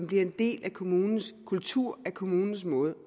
bliver en del af kommunens kultur af kommunens måde